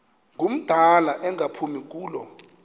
ngumdala engaphumi kulo